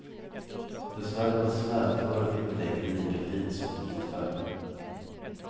Dessvärre var slädföret inte längre lika fint som på ditfärden.